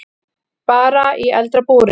Bara í eldra búri.